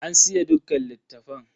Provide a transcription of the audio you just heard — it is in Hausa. An siye dukkan littafan.